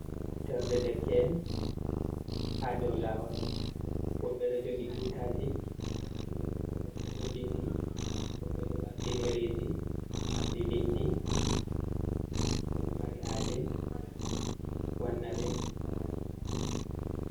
Moftorde Derke’en, haa doo laawol woɓɓe ɗo jogii tutaji nonde ɓokko ɓokko be bindi, woɓɓe ɗo ɓamti ɗereji marɗi bindi, ko ɓe mari haaje wanna ɓe.